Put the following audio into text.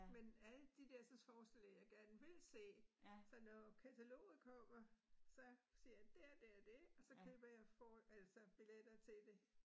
Men alle de dersens forestlillinger, jeg gerne vil se, så når kataloget kommer, så siger jeg det og det og det, og så køber jeg så billetter til det